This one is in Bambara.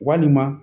Walima